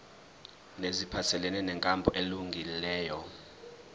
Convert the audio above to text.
neziphathelene nenkambo elungileyo